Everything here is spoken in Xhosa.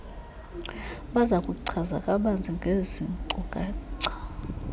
bazakuchaza kabanzi ngeezinkcukacha